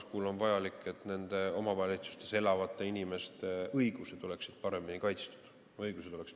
See on vajalik selleks, et omavalitsustes elavate inimeste õigused oleksid paremini kaitstud.